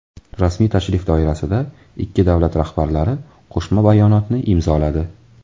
Rasmiy tashrif doirasida ikki davlat rahbarlari Qo‘shma bayonotni imzoladi.